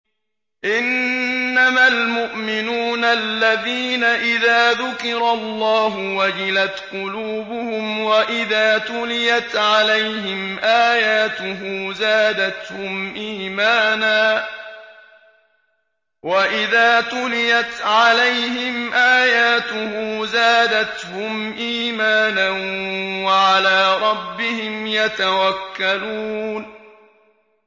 إِنَّمَا الْمُؤْمِنُونَ الَّذِينَ إِذَا ذُكِرَ اللَّهُ وَجِلَتْ قُلُوبُهُمْ وَإِذَا تُلِيَتْ عَلَيْهِمْ آيَاتُهُ زَادَتْهُمْ إِيمَانًا وَعَلَىٰ رَبِّهِمْ يَتَوَكَّلُونَ